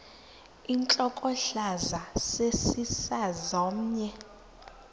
intlokohlaza sesisaz omny